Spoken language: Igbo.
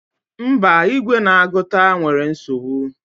Mba, igwe na-agụta nwere nsogbu.